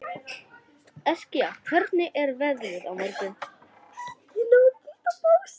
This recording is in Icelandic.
Eskja, hvernig er veðrið á morgun?